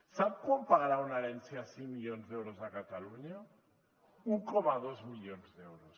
sap quant pagarà una herència de cinc milions d’euros a catalunya un coma dos milions d’euros